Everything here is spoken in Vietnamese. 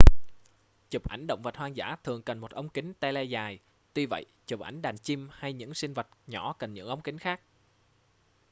chụp ảnh động vật hoang dã thường cần một ống kính tele dài tuy vậy chụp ảnh đàn chim hay những sinh vật nhỏ cần những ống kính khác